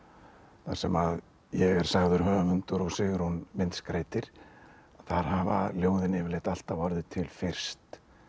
þar sem ég er sagður höfundur og Sigrún myndskreytir þar hafa ljóðin yfirleitt alltaf orðið til fyrst